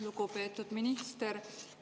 Lugupeetud minister!